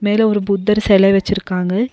மேல ஒரு புத்தர் செலை வச்சிருக்காங்க.